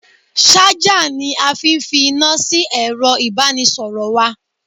Ṣájà ni a fi fi iná sí ẹ̀ro ìbánisọ̀rọ̀ wa.